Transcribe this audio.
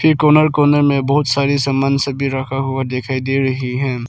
ई corner corner में बहुत सारी सामान सभी रखा हुआ दिखाई दे रही है।